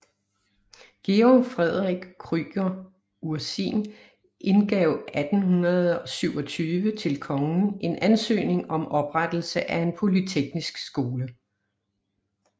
Georg Frederik Krüger Ursin indgav 1827 til kongen en ansøgning om oprettelse af en polyteknisk skole